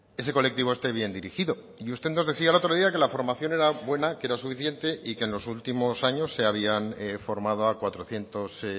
ese colectivo esté bien dirigido y usted nos decía el otro día que la formación era buena que era suficiente y que en los últimos años se habían formado a cuatrocientos